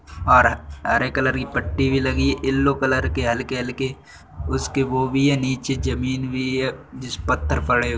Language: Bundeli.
हरे कलर की पट्टी भी लगी है येलो कलर के हल्के हल्के उसके वो भी हैं नीचे जमीन भी है जिस पत्थर पड़े --